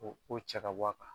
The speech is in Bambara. O ko cɛ k'a bɔ a kan